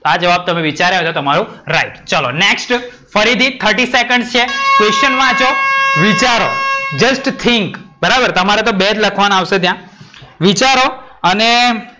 આ જવાબ તમે વિચારો છો તમારો રાઇટ ચલો. next ફરીથી thirty seconds છે. question વાંચો, વિચારો, just think. બરાબર, તમારે તો બે જ લખવાના આવશે ત્યાં. વિચારો અને,